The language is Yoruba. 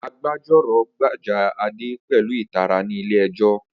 Agbẹjọ́rò gbèjà Ade pẹ̀lú ìtara ní ilé ẹjọ́